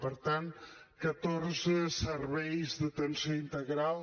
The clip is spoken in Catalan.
per tant catorze serveis d’atenció integral